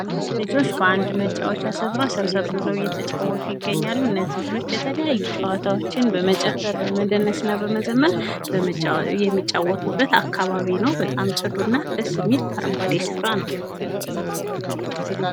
ልጆች በአንድ መጫወቻ ስፍራ ሰብሰብ ብለው እየተጫዎቱ ይገኛሉ። እነዚህም ልጆች የተለያዩ ጨዋታዎችን በመጨፈር በመደነስና በመዘመር የሚጫዎቱበት አካባቢ ነው። ጽዱና ደስ የሚል አረንጓዴ ስፍራ ነው።